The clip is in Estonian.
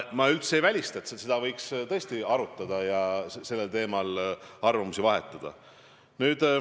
Ma üldse ei välista, et seda võiks tõesti arutada ja sellel teemal arvamusi vahetada.